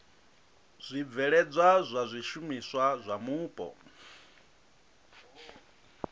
zwibveledzwa zwa zwishumiswa zwa mupo